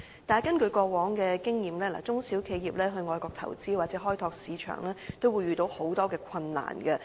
但是，根據過往的經驗，中小企業到外國投資或開拓市場，都會遇到很多困難。